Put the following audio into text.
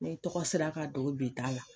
N'i tɔgɔ sera a ka don bi ta la.